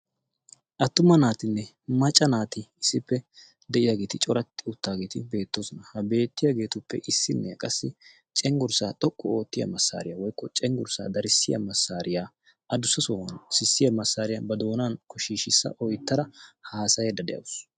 attuma naatinne macca naati issippe de7iyaageeti coratti uttaageeti beettoosona. ha beettiyaageetuppe issinne qassi cenggurssaa xoqqu oottiya massaariyaa woikko cenggurssaa darissiya massaariyaa adussa sohuwan sissiya massaariyaa ba doonan koshiishissa oittara haasayedda de7awusu.